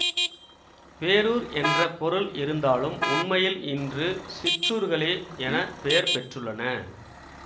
பேரூர் என்ற பொருள் இருந்தாலும் உண்மையில் இன்று சிற்றூர்களே என பெயர் பெற்றுள்ளன